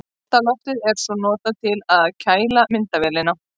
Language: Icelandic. Kalda loftið er svo notað til að kæla myndavélina.